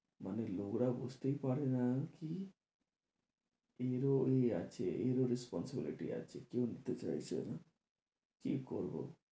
মানে লোকরা বুঝতেই পাড়ে না কি এরও আছে এরও responsibility আছে কেউ নিতে চাইছে না কি করবো?